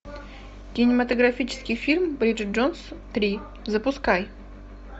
кинематографический фильм бриджит джонс три запускай